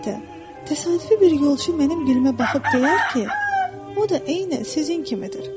Əlbəttə, təsadüfi bir yolçu mənim gülüə baxıb deyər ki, o da eynən sizin kimidir.